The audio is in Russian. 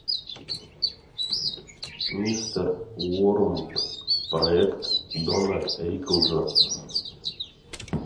мистер уормт проект дона риклза